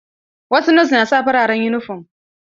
Wasu nos na sa fararen yunifom.